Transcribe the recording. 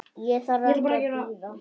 Ég þarf ekki að bíða.